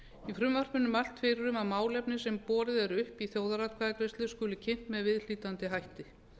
í frumvarpinu er mælt fyrir um að málefni sem borið er upp í þjóðaratkvæðagreiðslu skuli kynnt með viðhlítandi hætti